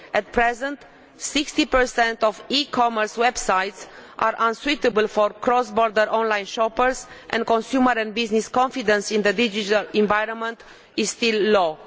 At present 60 of e commerce websites are unsuitable for cross border on line shoppers, and consumer and business confidence in the digital environment is still low.